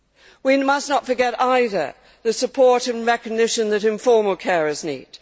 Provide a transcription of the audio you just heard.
We must not forget, either, the support and recognition that informal carers need.